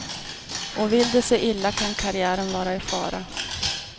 Och vill det sig illa kan karriären vara i fara.